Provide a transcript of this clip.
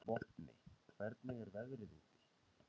Vopni, hvernig er veðrið úti?